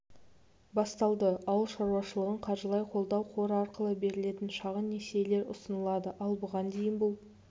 басталды ауыл шаруашылығын қаржылай қолдау қоры арқылы берілетін шағын несиелер ұсынылады ал бұған дейін бұл